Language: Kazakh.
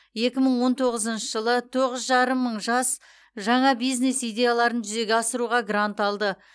екі мың он тоғызыншы жылы тоғыз жарым мың жас жаңа бизнес идеяларын жүзеге асыруға грант алды